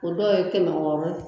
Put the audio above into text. O dɔw ye kɛmɛ wɔɔrɔ